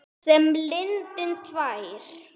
Sem lindin tær.